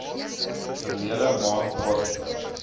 verlede maand plaasgevind